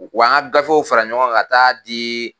Wa an ka gafew fara ɲɔgɔn kan ka taa diii.